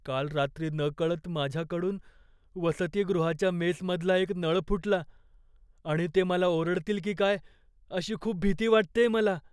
काल रात्री नकळत माझ्याकडून वसतिगृहाच्या मेसमधला एक नळ फुटला, आणि ते मला ओरडतील की काय अशी खूप भीती वाटतेय मला.